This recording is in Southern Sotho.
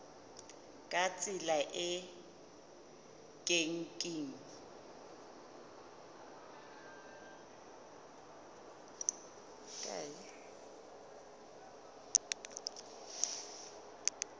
ka tsela e ke keng